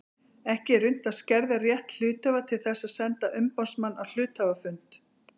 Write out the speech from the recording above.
Ekki er unnt að skerða rétt hluthafa til þess að senda umboðsmann á hluthafafund.